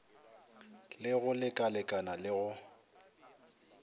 le go lekalekana le go